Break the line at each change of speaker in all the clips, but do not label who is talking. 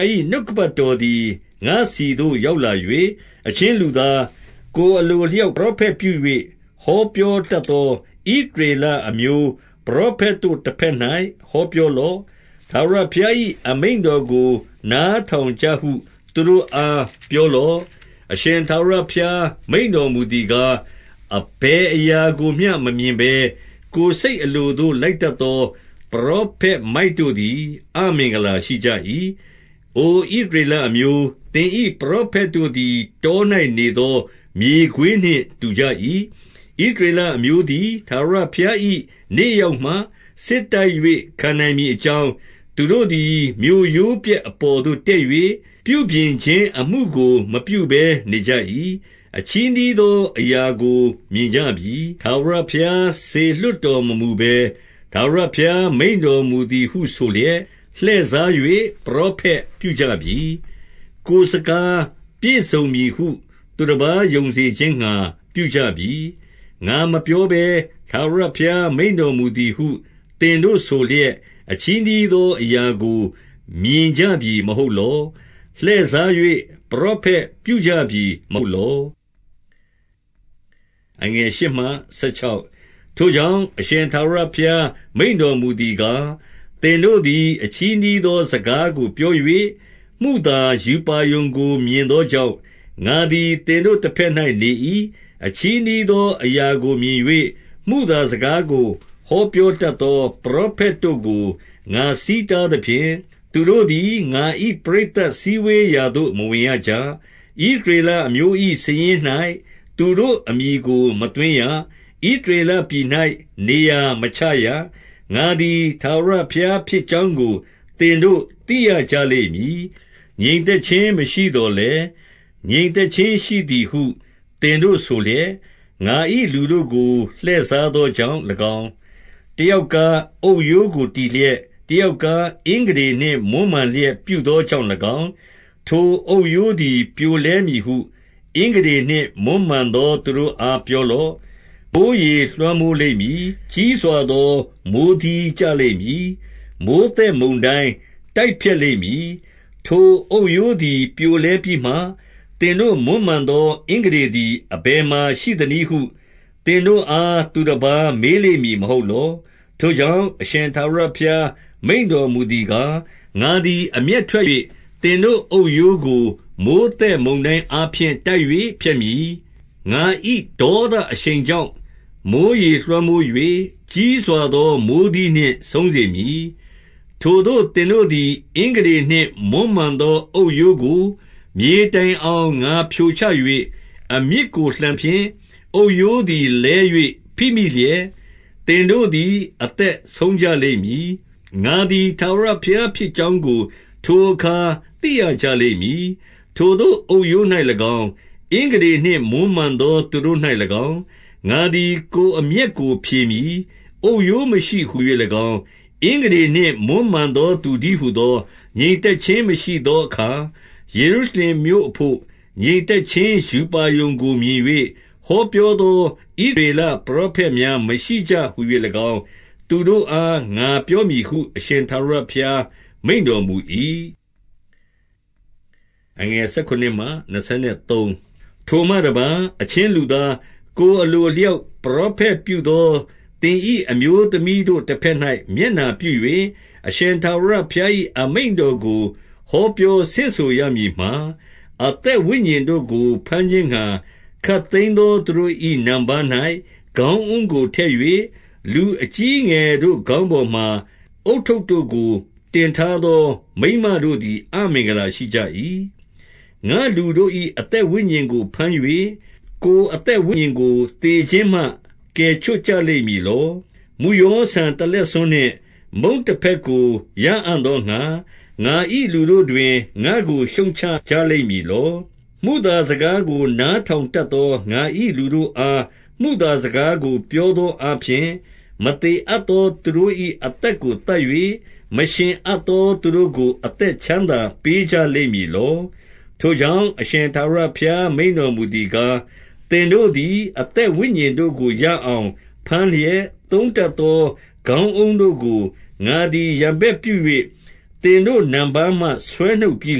ား၏ နှုတ်ကပတ်တော်သည် ငါ့ဆီသို့ ရောက်လာ၍၊ 2 အချင်းလူသား၊ ကိုယ်အလိုအလျောက် ပရော ဖက် ပြု၍ ဟောပြောတတ်သော ဣသရေလအမျိုး ပရောဖက်တို့တဘက်၌ ဟောပြောလော့။ ထာဝရဘုရား ၏ အမိန့်တော်ကိုနားထောင်ကြဟု သူတို့အားပြောလော့။ 3 အရှင်ထာဝရဘုရားမိန့်တော်မူသည်ကား၊ အဘယ်အရာကိုမျှ မမြင်ဘဲ၊ ကိုယ်စိတ်အလိုသို့ လိုက် တတ်သော ပရောဖက်မိုက်တို့သည် အမင်္ဂလာရှိကြ၏။ 4 အိုဣသရေလအမျိုး၊ သင်၏ပရောဖက်တို့သည် တော၌နေသော မြေခွေးနှင့် တူကြ၏။ 5 ဣသရေလအမျိုးသည် ထာဝရဘုရား၏ နေ့ ရောက်မှစစ်တိုက်၍ ခံနိုင်မည်အကြောင်း၊ သူတို့သည် မြို့ရိုးပျက် အပေါ်သို့တက်၍၊ ပြုပြင်ခြင်းအမှုကို မပြုဘဲ နေကြ၏။ 6 အချည်းနှီးသောအရာကို မြင်ကြပြီ။ ထာဝရ ဘုရားစေလွှတ်တော်မမူဘဲ၊ ထာဝရဘုရားမိန့်တော်မူသည် ဟုဆိုလျက်၊ လှည့်စား၍ပရောဖက်ပြုကြပြီ။ ကိုယ်စကား ပြည့်စုံ မည်ဟု သူတပါးယုံစေခြင်းငှါ ပြုကြပြီ။ 7 ငါမပြောဘဲ ထာဝရဘုရားမိန့်တော်မူသည်ဟု သင်တို့ဆိုလျက်၊ အချည်းနှီးသော အရာကိုမြင်ကြပြီ မဟုတ်လော။ လှည့်စား၍ ပရောဖက်ပြုကြပြီ မဟုတ် လော့။ 8 ထိုကြောင့် အရှင်ထာဝရဘုရားမိန့်တော်မူ သည်ကား၊ သင်တို့သည် အချည်းနှီးသော စကားကို ပြော၍ မုသာရူပါရုံကိုမြင်သောကြောင့် ငါသည် သင်တို့ တဘက်၌ နေ၏။ 9 အချည်းနှီးသော အရာကိုမြင်၍ မုသာစကားကို ဟောပြောတတ်သော ပရောဖက်တို့ကို ငါဆီးတားသဖြင့်၊ သူတို့သည် ငါ၏ပရိသတ်စည်းဝေးရာသို့ မဝင်ရကြ။ ဣသရေလ အမျိုး၏ စာရင်း၌ သူတို့အမည်ကို မသွင်းရ။ ဣသရေလပြည်၌နေရာမချရ။ ငါသည် ထာဝရဘုရား ဖြစ်ကြောင်းကို သင်တို့သိရကြလိမ့်မည်။ 10 ငြိမ်သက်ခြင်းမရှိသော်လည်း၊ ငြိမ်သက်ခြင်း ရှိသည်ဟု သင်တို့ဆိုလျက်၊ ငါ၏လူတို့ကို လှည့်စားသော ကြောင့်၎င်း၊ တယောက်ကား အုတ်ရိုးကိုတည်လျက်၊ တယောက်ကားအင်္ဂတေနှင့်မွမ်းမံလျက်ပြုသောကြောင့် ၎င်း၊ 11 ထိုအုတ်ရိုးသည်ပြိုလဲမည်ဟု အင်္ဂတေနှင့်မွမ်းမံ သောသူတို့အား ပြောလော့။ မိုဃ်းရေလွှမ်းမိုးလိမ့်မည်။ ကြီးစွာသော မိုဃ်းသီးကျလိမ့်မည်။ မိုဃ်းသက်မုန်တိုင်း တိုက်ဖျက်လိမ့်မည်။ 12 ထိုအုတ်ရိုးသည်ပြိုလဲပြီးမှ၊ သင်တို့မွမ်းမံသော အင်္ဂတေသည် အဘယ်မှာရှိသနည်းဟု သင်တို့အား သူတပါးမေးလိမ့်မည်မဟုတ်လော။ 13 ထိုကြောင့်၊ အရှင်ထာဝရဘုရားမိန့်တော်မူ သည်ကား၊ ငါသည် အမျက်ထွက်၍၊ သင်တို့အုတ်ရိုးကို မိုဃ်းသက်မုန်တိုင်းအားဖြင့်တိုက်၍ ဖျက်မည်။ ငါ၏ ဒေါသအရှိန်ကြောင့် မိုဃ်းရေလွှမ်းမိုး၍၊ ကြီးစွာသော မိုဃ်းသီးနှင့်ဆုံးစေမည်။ 14 ထိုသို့သင်တို့သည် အင်္ဂတေနှင့် မွမ်းမံသော အုတ်ရိုးကို မြေတိုင်အောင် ငါဖြိုချ၍ အမြစ်ကိုလှန်သဖြင့်၊ အုတ်ရိုးသည်လဲ၍ ဖိမိလျက်၊ သင်တို့သည် အသက်ဆုံးကြ လိမ့်မည်။ ငါသည် ထာဝရဘုရားဖြစ်ကြောင်းကို ထိုအခါ သိရကြလိမ့်မည်။ 15 ထိုသို့အုတ်ရိုး၌၎င်း၊ အင်္ဂတေနှင့် မွမ်းမံသော သူတို့၌၎င်း၊ ငါသည်ကိုယ်အမျက်ကို ဖြေမည်။ အုတ်ရိုး မရှိဟူ၍၎င်း၊ အင်္ဂတေနှင့် မွမ်းမံသောသူတည်းဟူသော၊ 16 ငြိမ်သက်ခြင်းမရှိသောအခါ ယေရုရှလင်မြို့ အဘို့ ငြိမ်သက်ခြင်း ရူပါရုံကို မြင်၍ ဟောပြောသော ဣသရေလပရောဖက်များမရှိကြဟူ၍၎င်း၊ သူတို့အား ငါပြောမည်ဟု အရှင်ထာဝရဘုရားမိန့်တော်မူ၏။ 17 ထိုမှတပါး၊ အချင်းလူသား၊ ကိုယ်အလို အလျောက် ပရောဖက်ပြုသောသင်၏ အမျိုးသမီးတို့ တဘက်၌ မျက်နှာပြု၍၊ 18 အရှင်ထာဝရဘုရား၏ အမိန့်တော်ကို ဟော ပြောဆင့်ဆိုရမည်မှာ၊ အသက်ဝိညာဉ်တို့ကို ဘမ်းခြင်းငှါ ခပ်သိမ်းသော သူတို့၏နံပါး၌ ခေါင်းအုံးကိုထည့်၍၊ လူအကြီးအငယ်တို့ခေါင်းပေါ်မှာ ဦးထုပ်တို့ကို တင်ထား သောမိန်းမတို့သည် အမင်္ဂလာရှိကြ၏။ ငါ့လူတို့၏ အသက်ဝိညာဉ်ကို ဘမ်း၍၊ ကိုယ်အသက်ဝိညာဉ်ကို သေခြင်းမှ ကယ်ချွတ်ကြလိမ့်မည်လော။ 19 မုယောဆန်တလက်ဆွန်းနှင့်မုန့်တဖဲ့ကို ရအံ့ သောငှါ၊ ငါ၏လူတို့တွင် ငါ့ကိုရှုတ်ချကြလိမ့်မည်လော။ မုသာစကားကို နားထောင်တတ်သော ငါ၏လူတို့အား မုသာစကားကို ပြောသောအားဖြင့်၊ မသေအပ်သော သူတို့၏ အသက်ကိုသတ်၍၊ မရှင်အပ်သောသူတို့ကို အသက်ချမ်းသာပေးကြလိမ့်မည်လော။ 20 ထိုကြောင့် အရှင်ထာဝရဘုရားမိန့်တော်မူ သည်ကား၊ သင်တို့သည် အသက်ဝိညာဉ်တို့ကို ရအောင် ဘမ်းလျက်၊ သုံးတတ်သောခေါင်းအုံးတို့ကို ငါသည် ရန်ဘက်ပြု၍ သင်တို့နံပါးမှဆွဲနှုတ်ပြီး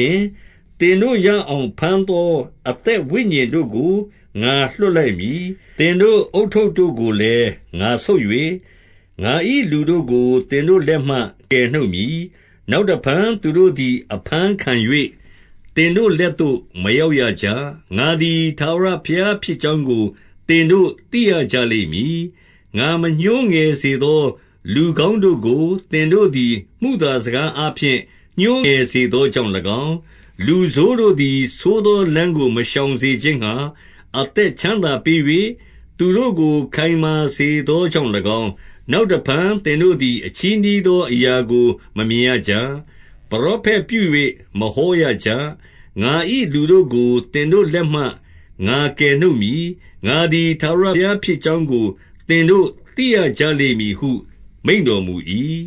လျှင်၊ သင်တို့ ရအောင် ဘမ်းသော အသက်ဝိညာဉ်တို့ကို ငါလွှတ်လိုက်မည်။ 21 သင်တို့ဦးထုတ်တို့ကိုလည်း ငါဆုတ်၍၊ ငါ၏ လူတို့ကို သင်တို့လက်မှ ကယ်နှုတ်မည်။ နောက်တဖန် သူတို့သည် အဘမ်းခံ၍၊ သင်တို့လက်သို့ မရောက်ရကြ။ ငါသည် ထာဝရဘုရား ဖြစ်ကြောင်းကို သင်တို့သိရကြ လိမ့်မည်။ 22 ငါမညှိုးငယ်စေသော လူကောင်းတို့ကို သင်တို့ သည် မုသာစကားအားဖြင့် ညှိုးငယ်စေသောကြောင့်၎င်း၊ လူဆိုးတို့သည် ဆိုးသောလမ်းကို မရှောင်စေခြင်းငှါ အသက်ချမ်းသာပေး၍၊သူတို့ကိုခိုင်မာစေသောကြောင့် ၎င်း၊ 23 နောက်တဖန်သင်တို့သည် အချည်းနှီးသော အရာကိုမမြင်ရကြ။ ပရောဖက်ပြု၍မဟောရကြ။ ငါ၏ လူတို့ကိုသင်တို့လက်မှငါကယ်နှုတ်မည်။ ငါသည် ထာဝရ ဘုရားဖြစ်ကြောင်းကို သင်တို့သိရကြလိမ့်မည်ဟု မိန့်တော် မူ၏။